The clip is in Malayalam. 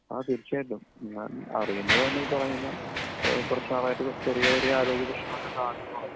അതെ തീർച്ചയായിട്ടും. ഞാൻ അറിയുന്നത് തന്നെ ഈ പറഞ്ഞപോലെ കുറച്ചു നാളായിട്ട് ചെറിയ ചെറിയ ആരോഗ്യപ്രശ്നങ്ങൾ ഒക്കെ കാണുമ്പോഴാണ്.